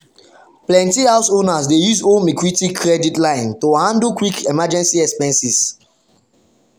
plenty house owners dey use home equity credit line to handle quick emergency expenses.